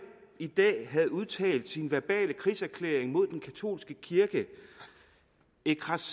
i dag havde udtalt sin verbale krigserklæring mod den katolske kirke ecrassez